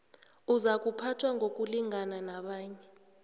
uzakuphathwa ngokulingana nabanye